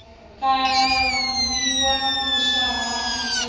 kavhiwa huswa ha hiv na